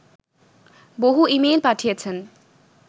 বহু ইমেইল পাঠিয়েছেন